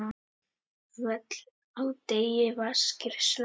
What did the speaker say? Völl á degi vaskir slá.